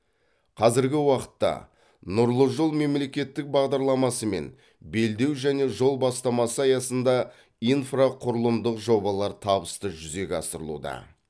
қазіргі уақытта нұрлы жол мемлекеттік бағдарламасы мен белдеу және жол бастамасы аясында инфрақұрылымдық жобалар табысты жүзеге асырылуда